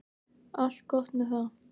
Allt gott með það.